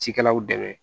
Cikɛlaw dɛmɛ